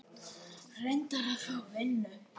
Reyna að fá vinnu?